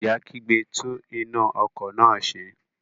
Ìyá kígbe, "tún iná ọkọ̀ náà ṣe".